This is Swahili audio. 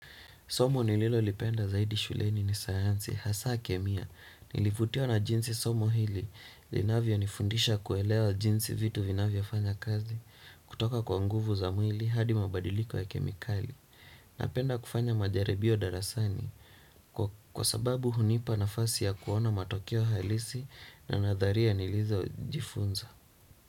Somo nililo lipenda zaidi shuleni ni sayansi, hasa kemia, nilivutiwa na jinsi somo hili, linavyo nifundisha kuelewa jinsi vitu vinavyo fanya kazi, kutoka kwa nguvu za mwili hadi mabadiliko ya kemikali. Napenda kufanya majaribio darasani, kwa sababu hunipa nafasi ya kuona matokeo hailisi na nadharia nilizo jifunza.